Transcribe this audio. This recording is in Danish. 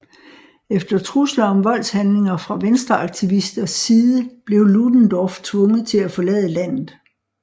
Efter trusler om voldshandlinger fra venstreaktivisters side blev Ludendorff tvunget til at forlade landet